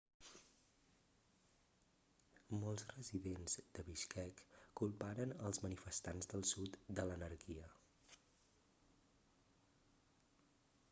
molts residents de bishkek culparen els manifestats del sud de l'anarquia